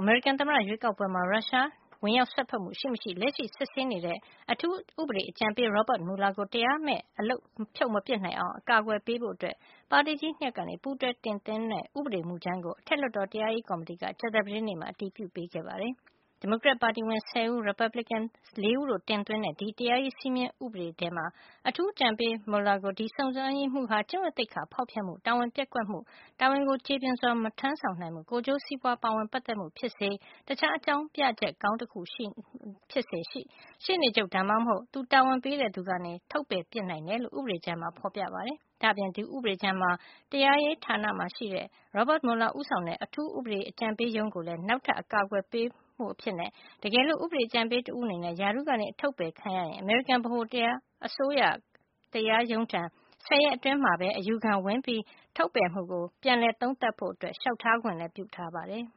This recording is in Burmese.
အမေရိကန်သမ္မတ ရွေးကောက်ပွဲမှာ ရုရှားကြားဝင် စွက်ဖက်မှုရှိမရှိ လက်ရှိစစ်ဆေးနေတဲ့ အထူးဥပဒေအကြံပေး Robert Mueller ကို တရားမဲ့ အလုပ်ဖြုတ် မပစ်နိုင်အောင် အကာကွယ်ပေးဖို့ ပါတီကြီး ၂ ရပ်က ပူးတွဲတင်သွင်းတဲ့ ဥပဒေမူကြမ်းကို အထက်လွှတ်တော် တရားရေးကော်မတီက ကြာသပတေးနေ့မှာ အတည်ပြုပေးခဲ့ပါတယ်။ ဒီမိုကရက်တစ်ပါတီဝင် ၁၀ ဦးနဲ့ ရီပတ်ဘလစ်ကင်ပါတီဝင် ၄ ဦးတို့ တင်သွင်းတဲ့ ဒီတရားရေးစည်းမျဉ်းဥပဒေဟာ အထူးဥပဒေအကြံပေး Mueller ကို ဒီစုံစမ်းရေးမှုးဟာ ကျင့်ဝတ်သိက္ခာဖေါက်ဖျက်မှု၊ တာဝန်ပျက်ကွက်မှု၊ တာဝန်ကို ကြေပွန်စွာ မထမ်းဆောင်နိုင်မှု၊ ကိုယ်ကျိုးစီးပွါး ပါဝင်ပတ်သက်မှုဖြစ်စေ၊ တခြားအကြောင်းပြချက်ကောင်း တခုရှိမှ ရှေ့နေချုပ် ဒါမှမဟုတ် သူတာဝန်ပေးတဲ့သူက ထုတ်ပယ်နိုင်တယ်လို့ ဥပဒေကြမ်းမှာ ဖေါ်ပြထားပါတယ်။ ဒါ့အပြင် ဒီဥပဒေကြမ်းမှာ တရားရေးဌာနရှိ Robert Mueller ဦးဆောင်တဲ့ အထူးဥပဒေအကြံပေးရုံးကိုလည်း နောက်ထပ် အကာကွယ် ပေးမှုအဖြစ် တကယ်လို့ ဥပဒေအကြံပေးတဦးအနေနဲ့ ရာထူးကနေ အထုတ်ပယ်ခံရရင် အမေရိကန်ဗဟိုအစိုးရ တရားရုံးထံ ဆယ်ရက်အတွင်း အယူခံဝင်ပြီး ထုတ်ပယ်မှုကို ပြန်လည်သုံးသပ်ဖို့ လျှောက်ထားခွင့်လည်း ပြုထားပါတယ်